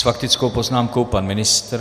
S faktickou poznámkou pan ministr.